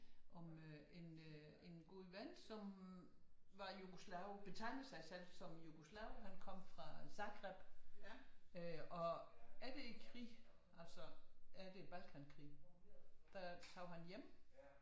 Om øh en god ven som var jugoslave betegnede sig selv som jugoslave han kom fra Zagreb øh og er det ikke krig er det balkankrig der tog han hjem